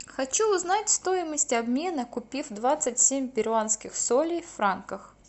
хочу узнать стоимость обмена купив двадцать семь перуанских солей в франках